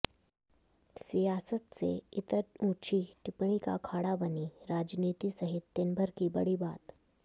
सियासत से इतर ओछी टिप्पणी का अखाड़ा बनी राजनीति सहित दिनभर की बड़ी बात